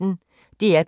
DR P1